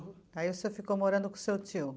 Aí o senhor ficou morando com o seu tio?